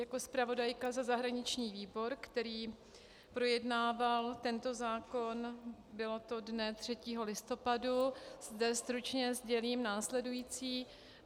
Jako zpravodajka za zahraniční výbor, který projednával tento zákon, bylo to dne 3. listopadu, zde stručně sdělím následující.